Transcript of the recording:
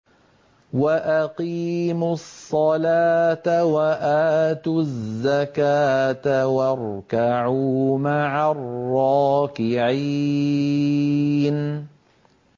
وَأَقِيمُوا الصَّلَاةَ وَآتُوا الزَّكَاةَ وَارْكَعُوا مَعَ الرَّاكِعِينَ